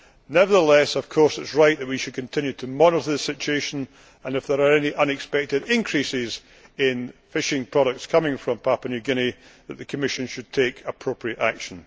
Nevertheless, it is, of course, right that we should continue to monitor the situation and that, if there are any unexpected increases in fishing products coming from Papua New Guinea, the Commission should take appropriate